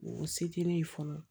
O se tɛ ne ye fɔlɔ